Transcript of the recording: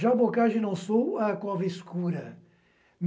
Já o Boccagi não sou a cova escura.